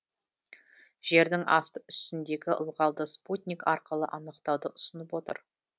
жердің асты үстіндегі ылғалды спутник арқылы анықтауды ұсынып отыр